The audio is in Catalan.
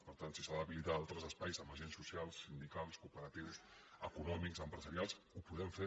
per tant si s’ha d’habilitar altres espais amb agents socials sindicals cooperatius econòmics empresarials ho podem fer